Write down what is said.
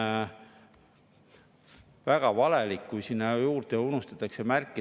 Miks me peaksime nuumama välisriigi pankasid, kui meil on oma, Eesti kapitalil olevad pangad?